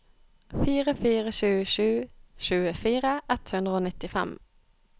fire fire sju sju tjuefire ett hundre og nittifem